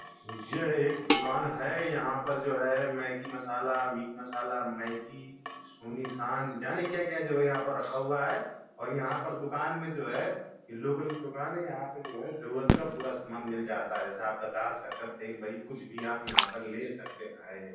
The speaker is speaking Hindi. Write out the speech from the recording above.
यह एक दुकान है यहाँ पर जो है मैग्गी मसालामीट मसालामैग्गी जाने क्या क्या जो है यहाँ पर रखा हुआ है और यहाँ पर दुकान में जो है ये लोकल की दुकान है। यहाँ पे जो है जरूरत का पूरा सामान मिल जाता है जैसा आपका दालशक्करतेलबड़ी कुछ भी आप यहाँ पर ले सकते हैं।